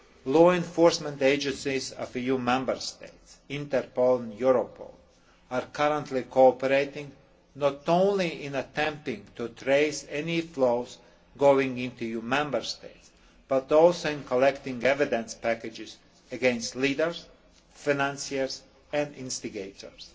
Law enforcement agencies of EU Member States, Interpol and Europol are currently cooperating, not only in attempting to trace any flows going into EU Member States but also in collecting evidence packages against leaders, financiers and instigators.